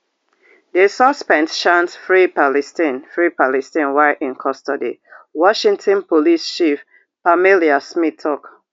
di suspect chant free palestine free palestine while in custody washington police chief pamela smith tok